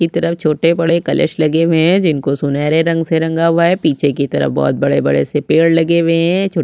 की तरफ छोटे बड़े कलश लगे हुए हैं जिनको सुनहरे रंग से रंगा हुआ है पीछे की तरफ बहुत बड़े - बड़े से पेड़ लगे हुए है छो --